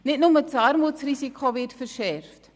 Nicht nur das Armutsrisiko wird verschärft.